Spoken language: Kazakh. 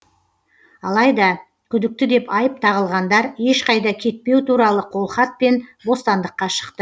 алайда күдікті деп айып тағылғандар ешқайда кетпеу туралы қолхатпен бостандыққа шықты